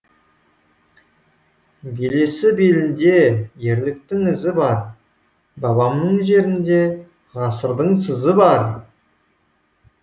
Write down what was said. белесі белінде ерліктің ізі бар бабамның жерінде ғасырдың сызы бар